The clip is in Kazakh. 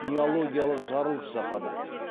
неологиялық жарылыс жасады